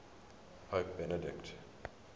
pope benedict